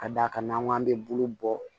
Ka d'a kan n'an k'an bɛ bolo bɔ